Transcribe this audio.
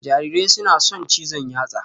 Jarirai suna son cizon yatsa